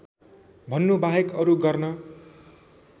भन्नुबाहेक अरू गर्न